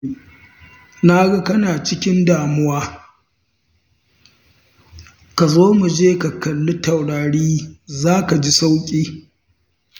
Na ga kana cikin damuwa, ka zo mu je ka kalli taurari za ka ji sauƙi.